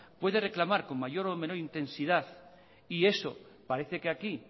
puede reclamar con mayor o menor intensidad y eso parece que aquí